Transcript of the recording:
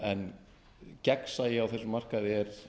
en gegnsæi á þessum markaði er